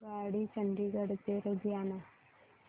आगगाडी चंदिगड ते लुधियाना